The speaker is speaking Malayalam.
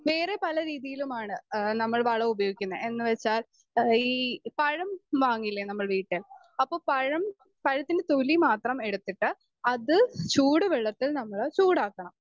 സ്പീക്കർ 2 വേറെ പല രീതിയിലുമാണ് ഏഹ് നമ്മൾ വളമുപയോഗിക്കുന്നെ എന്നുവെച്ചാൽ എഹ് ഈ പഴം വാങ്ങില്ലേ നമ്മൾ വീട്ടില് അപ്പൊ പഴം പഴത്തിൻ്റെ തൊലി മാത്രം എടുത്തിട്ട് അത് ചൂടുവെള്ളത്തിൽ നമ്മള് ചൂടാക്കണം